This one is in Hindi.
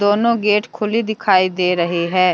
दोनों गेट खुली दिखाई दे रही है।